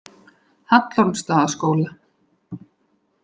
Hallormsstaðaskóla